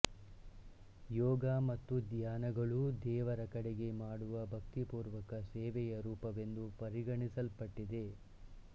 ಯೋಗ ಮತ್ತು ಧ್ಯಾನಗಳೂ ದೇವರ ಕಡೆಗೆ ಮಾಡುವ ಭಕ್ತಿಪೂರ್ವಕ ಸೇವೆಯ ರೂಪವೆಂದು ಪರಿಗಣಿಸಲ್ಪಟ್ಟಿದೆ